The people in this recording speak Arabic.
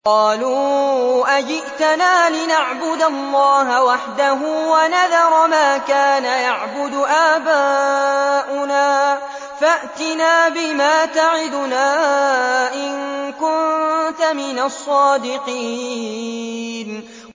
قَالُوا أَجِئْتَنَا لِنَعْبُدَ اللَّهَ وَحْدَهُ وَنَذَرَ مَا كَانَ يَعْبُدُ آبَاؤُنَا ۖ فَأْتِنَا بِمَا تَعِدُنَا إِن كُنتَ مِنَ الصَّادِقِينَ